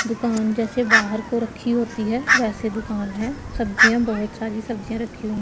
दुकान जैसे बाहर को रखी होती है वैसे दुकान है सब्जियां बहोत सारी सब्जियां रखी हु--